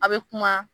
A' be kuma